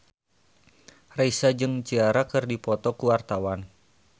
Raisa jeung Ciara keur dipoto ku wartawan